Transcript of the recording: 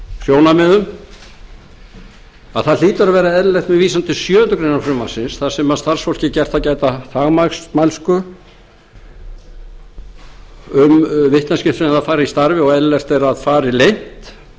sjónarmiðum að það hlýtur að vera eðlilegt að við vísum til sjöundu greinar frumvarpsins þar sem starfsfólki er gert að gæta þagmælsku um vitneskju sem það fær í starfi og eðlilegt er að fari leynt